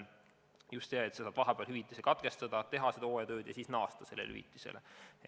Sa saad vahepeal hüvitise maksmise katkestada, teha hooajatööd ja siis hakata jälle seda hüvitist saama.